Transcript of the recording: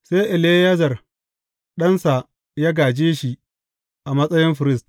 Sai Eleyazar ɗansa ya gāje shi a matsayin firist.